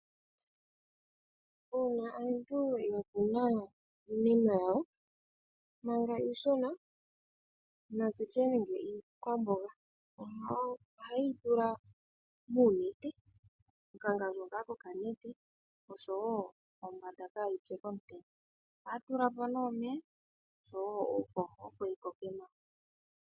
Uuna aantu ya kuna iimeno yawo manga iishona natutye nande iikwamboga ohaye yi tula muunete, okangandjo ngaa ko ka nete oshowo pombanda kaayipye komutenya. Ohaya tula mo nee omeya oshowo uuhoho opo yi koke nawa.